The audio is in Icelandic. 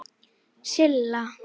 Silla